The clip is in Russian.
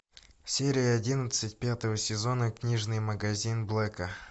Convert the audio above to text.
серия одиннадцать пятого сезона книжный магазин блэка